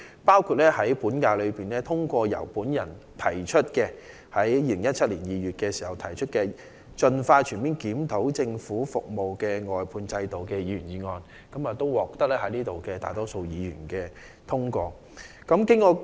本屆立法會在2017年2月通過了由我提出的"盡快全面檢討政府的服務外判制度"的議員議案，並獲得大多數議員支持。